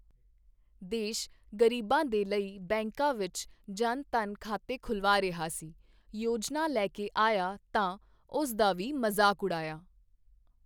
ਦੇਸ਼ ਗ਼ਰੀਬਾਂ ਦੇ ਲਈ ਬੈਂਕਾਂ ਵਿੱਚ ਜਨਧਨ ਖਾਤੇ ਖੁਲਵਾ ਰਿਹਾ ਸੀ, ਯੋਜਨਾ ਲੈ ਕੇ ਆਇਆ ਤਾਂ ਉਸ ਦਾ ਵੀ ਮਜ਼ਾਕ ਉਡਾਇਆ।